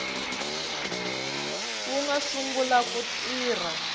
wu nga sungula ku tirha